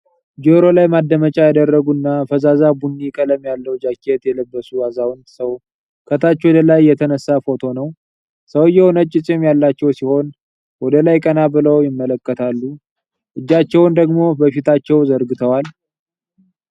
ጆሮ ላይ ማዳመጫ ያደረጉ እና ፈዛዛ ቡኒ ቀለም ያለው ጃኬት የለበሱ አዛውንት ሰው ከታች ወደ ላይ የተነሳ ፎቶ ነው። ሰውየው ነጭ ፂም ያላቸው ሲሆን፣ ወደ ላይ ቀና ብለው ይመለከታሉ፣ እጃቸውን ደግሞ በፊታቸው ዘርግተዋል።